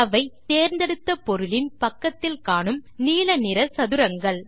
அவை தேர்ந்தெடுத்த பொருளின் பக்கத்தில் காணும் நீல நிற சதுரங்கள்